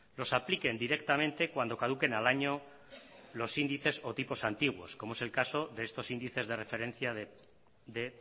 los apliquen directamente cuando caduquen al año los índices o tipos antiguos como es el caso de estos índices de referencia de